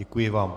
Děkuji vám.